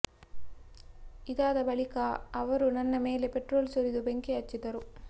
ಇದಾದ ಬಳಿಕ ಅವರು ನನ್ನ ಮೇಲೆ ಪೆಟ್ರೋಲ್ ಸುರಿದು ಬೆಂಕಿ ಹಚ್ಚಿದರು